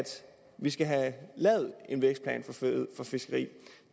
vi skal have lavet en vækstplan for fiskeri